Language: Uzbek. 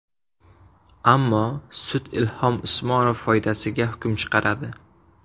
Ammo sud Ilhom Usmonov foydasiga hukm chiqaradi.